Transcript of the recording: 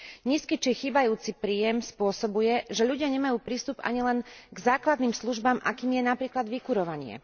Nízky či chýbajúci príjem spôsobuje, že ľudia nemajú prístup ani len k základným službám, akou je napríklad vykurovanie.